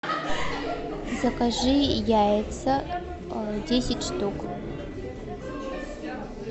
закажи яйца десять штук